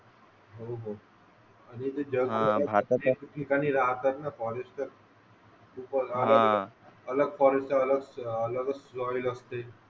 हो हो आणि जे जगभरात अनेक ठिकाणी राहतात ना फॉरेस्टर अलग फॉरेस्ट अलग अलगच लॉयल असते.